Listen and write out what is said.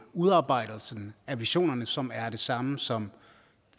udarbejdelsen af visionerne som er det samme som